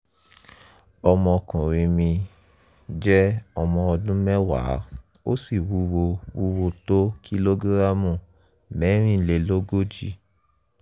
ọmọkùnrin mi jẹ́ ọmọ ọdún mẹ́wàá ó sì wúwo wúwo tó kìlógíráàmù mẹ́rin-lè-lógójì